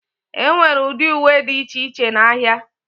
Enwere ụdị uwe dị iche iche n'ahịa.